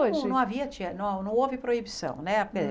Hoje Não, não havia te, não não houve proibição, né?